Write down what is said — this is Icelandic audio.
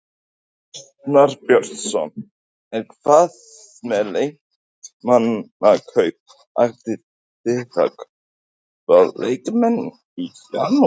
Arnar Björnsson: En hvað með leikmannakaup, ætlið þið að kaupa leikmenn í janúar?